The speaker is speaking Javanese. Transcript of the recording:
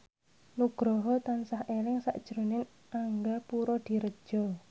Nugroho tansah eling sakjroning Angga Puradiredja